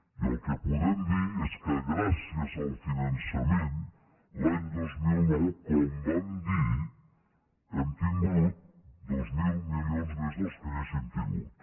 i el que podem dir és que gràcies al finançament l’any dos mil nou com vam dir hem tingut dos mil milions més del que hauríem tingut